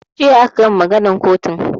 Jiya aka gama maganan kotun